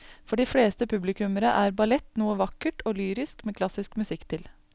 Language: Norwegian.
For de fleste publikummere er ballett noe vakkert og lyrisk med klassisk musikk til.